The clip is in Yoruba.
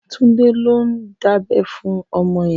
Tunde ló n dábẹ̀ fún ọmọ yèn